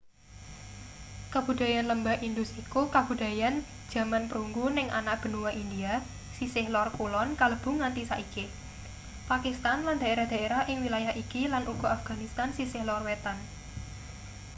kabudayan lembah indus iku kabudayan jaman perunggu ning anak benua india sisih lor kulon kalebu nganti-saiki pakistan lan daerah-daerah ing wilayah iki lan uga afganistan sisih lor wetan